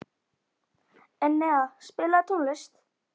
Enea, spilaðu tónlist.